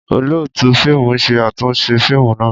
Olootu fiimu ṣe atunṣe fiimu naa.